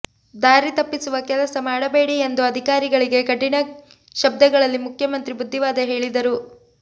ದಾರಿ ತಪ್ಪಿಸುವ ಕೆಲಸ ಮಾಡಬೇಡಿ ಎಂದು ಅಧಿಕಾರಿಗಳಿಗೆ ಕಠಿಣ ಶಬ್ಧಗಳಲ್ಲಿ ಮುಖ್ಯಮಂತ್ರಿ ಬುದ್ದಿವಾದ ಹೇಳಿದರು